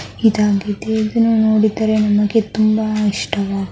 ಇದಾಗಿದೆ ಇದುನ್ನ ನೋಡಿದರೆ ನಮಗೆ ತುಂಬಾ ಇಷ್ಟವಾ --